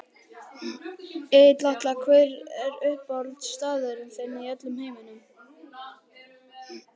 Egill Atla Hver er uppáhaldsstaðurinn þinn í öllum heiminum?